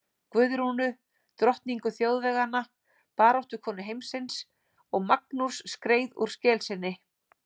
Guðrúnu, drottningu þjóðveganna, baráttukonu heimsins, og Magnús skreið úr skel sinni.